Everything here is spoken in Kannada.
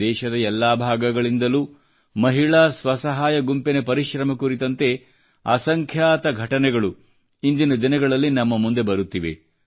ದೇಶದ ಎಲ್ಲಾ ಭಾಗಗಳಿಂದಲೂ ಮಹಿಳಾ ಸ್ವಸಹಾಯ ಗುಂಪಿನ ಪರಿಶ್ರಮ ಕುರಿತಂತೆ ಅಸಂಖ್ಯಾತ ಘಟನೆಗಳು ಇಂದಿನ ದಿನಗಳಲ್ಲಿ ನಮ್ಮ ಮುಂದೆ ಬರುತ್ತಿವೆ